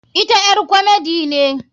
Ita ƴar komedi ne.